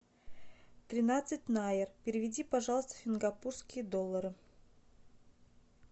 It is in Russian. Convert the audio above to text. тринадцать найр переведи пожалуйста в сингапурские доллары